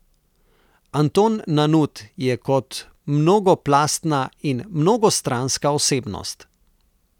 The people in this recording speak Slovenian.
Anton Nanut je kot mnogoplastna in mnogostranska osebnost.